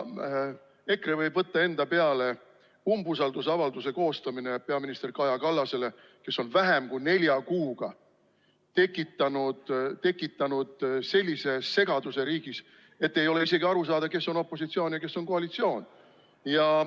EKRE võib võtta enda peale umbusaldusavalduse koostamise peaminister Kaja Kallasele, kes on vähem kui nelja kuuga tekitanud riigis sellise segaduse, et ei ole isegi aru saada, kes on opositsioonis ja kes on koalitsioonis.